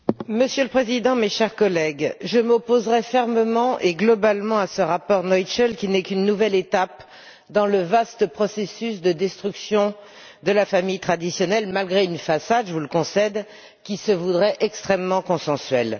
Monsieur le Président, chers collègues, je m'opposerai fermement et globalement au rapport Noichl, qui n'est qu'une nouvelle étape dans le vaste processus de destruction de la famille traditionnelle, malgré une façade je vous le concède qui se voudrait extrêmement consensuelle.